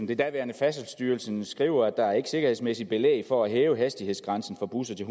den daværende færdselsstyrelse skriver at der ikke er sikkerhedsmæssigt belæg for at hæve hastighedsgrænsen for busser til